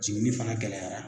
Jiginni fana gɛlɛyara